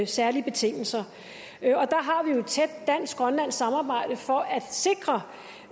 særlige betingelser der har vi jo et tæt dansk grønlandsk samarbejde for at sikre